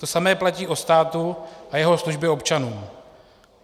To samé platí o státu a jeho službě občanům.